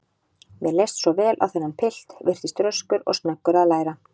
Mér leist svo vel á þennan pilt, virtist röskur og snöggur að læra.